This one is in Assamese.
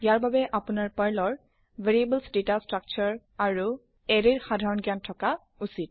ইয়াৰ বাবে আপোনাৰ পাৰ্ল ৰ ভেৰিয়েবলছ ডাটা ষ্ট্ৰাকচাৰ্ছ আৰু এৰে ৰ সাধাৰণ জ্ঞান থকা উচিত